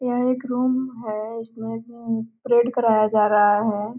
यह एक रूम है। इसमे उम परेड कराया जा रहा है।